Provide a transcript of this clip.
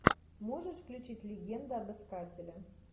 можешь включить легенда об искателе